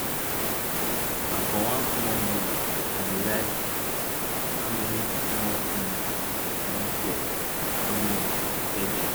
na for one small book ah dey write how many small pigs i don sell how much i sell dem